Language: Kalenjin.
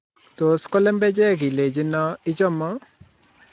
Tos ko lembechek ileino ichomo?